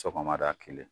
Sɔgɔmada kelen